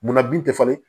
Munna bin tɛ falen